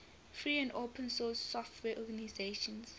free and open source software organizations